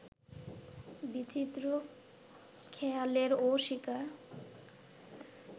বিচিত্র খেয়ালেরও শিকার